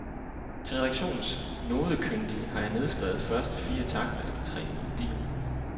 Til redaktionens nodekyndige har jeg nedskrevet første fire takter af de tre melodier.